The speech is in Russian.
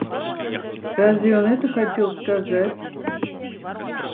разве он это хотел сказать